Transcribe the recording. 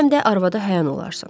Həm də arvada həyan olarsan.